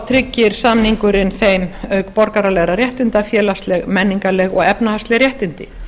tryggir samningurinn þeim auk borgaralegra réttinda félagsleg menningarleg og efnahagsleg réttindi